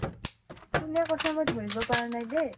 কোনে কৈছা, মই ধৰিব পাৰা নাই দেই ।